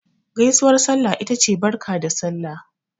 Gaisuwar sallah ita ce Barka da Sallah.